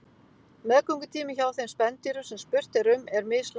Meðgöngutími hjá þeim spendýrum sem spurt er um er mislangur.